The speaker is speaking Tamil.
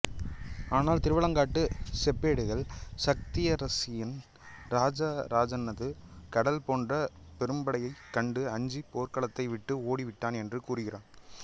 ஆனால் திருவாலங்காட்டுச் செப்பேடுகள் சத்தியாசிரயன் இராஜராஜனது கடல் போன்ற பெரும்படையக் கண்டு அஞ்சிப் போர்க்களத்தை விட்டு ஓடிவிட்டான் என்று கூறுகின்றன